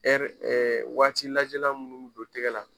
Ɛri waati lajɛlan minnu bɛ don tɛgɛ la,